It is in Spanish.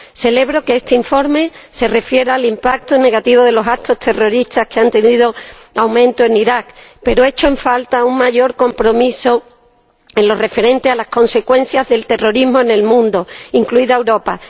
Celebro que este informe se refiera al impacto negativo de los actos terroristas que han venido aumentando en Irak, pero echo en falta un mayor compromiso en lo referente a las consecuencias del terrorismo en el mundo, incluida Europa.